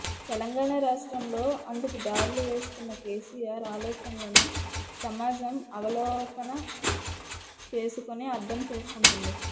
తెలంగాణ రాష్ట్రంలో అందుకు దారులు వేస్తున్న కేసీఆర్ ఆలోచనలను సమాజం అవలోకన చేసుకుని అర్థం చేసుకుంటుంది